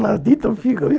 Maldita figa, viu?